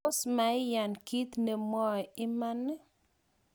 tos mui iyan kiit nemwoe iman?